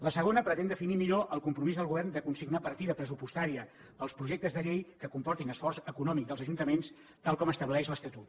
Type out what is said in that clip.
la segona pretén definir millor el compromís del govern de consignar partida pressupostària per als projectes de llei que comportin esforç econòmic dels ajuntaments tal com estableix l’estatut